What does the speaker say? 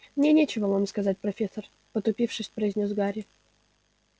мне нечего вам сказать профессор потупившись произнёс гарри